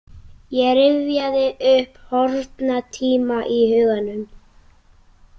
Ég rifjaði upp horfna tíma í huganum.